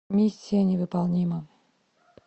миссия невыполнима